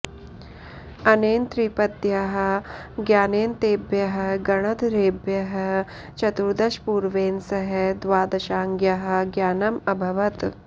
अनेन त्रिपद्याः ज्ञानेन तेभ्यः गणधरेभ्यः चतुर्दशपूर्वेण सह द्वादशाङ्ग्याः ज्ञानम् अभवत्